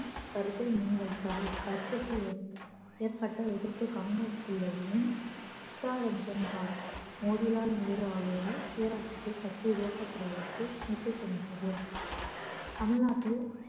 கருத்தை முன்வைத்தார் இக்கருத்துக்கள் ஏற்ப~ ஏற்பட்ட எதிர்ப்பு காங்கிரஸ்க்குள்ளேயும் S R M Das Motilal Nehru ஆகியோரால் சுயஆட்சிக்கு சர்ச்சை உருவாக்கப்படுவதற்கு நின்றது தமிழ்நாட்டில்